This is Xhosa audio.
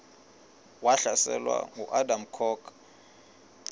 wahlaselwa nanguadam kok